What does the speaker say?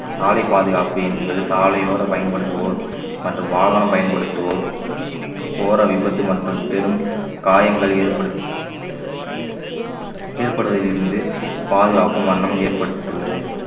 சாலை பாதுகாப்பு என்பது சாலையோர பயன்படுத்துவோர் மற்றும் வாகனம் பயன்படுத்துவோர் கோர விபத்து மற்றும் பெரும் காயங்கள் ஏற்படுத்து~ ஏற்படுவதில் இருந்து பாதுகாக்கும் வண்ணம் ஏற்பட்டுள்ளது